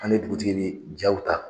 An me dugutigi ni ja ta